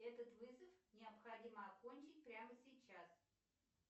этот вызов необходимо окончить прямо сейчас